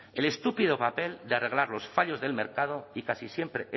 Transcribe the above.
el estúpido papel de arreglar los fallos del mercado y casi siempre